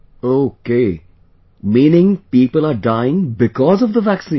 Okay...meaning people are dying BECAUSE of the vaccine